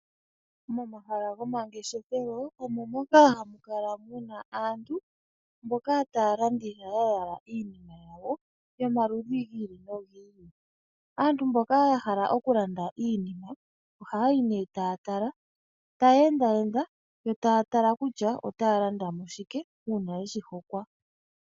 Momahala gomangeshefelo omo moka hamu kala aantu taya landitha ya yala iinima yawo yomaludhi gi ili nogi ili. Aantu mboka ya hala okulanda iinima ohaya yi nee taya tala taya enda enda yo taya tala kutya otaya landa mo shike uuna ye shi hokwa.